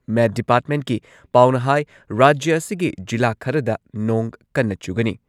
ꯃꯦꯠ ꯗꯤꯄꯥꯔꯠꯃꯦꯟꯠꯀꯤ ꯄꯥꯎꯅ ꯍꯥꯏ ꯔꯥꯖ꯭ꯌ ꯑꯁꯤꯒꯤ ꯖꯤꯂꯥ ꯈꯔꯗ ꯅꯣꯡ ꯀꯟꯅ ꯆꯨꯒꯅꯤ ꯫